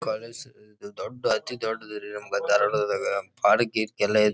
College ಇದು ದೊಡ್ಡ್ ಅತಿ ದೊಡ್ಡ್ ದು ರೀ ಅದು ಧಾರವಾಡ ಒಳಗೆ ಬಾರಿ ಕೀರ್ತಿ ಎಲ್ಲ ಐತಿ.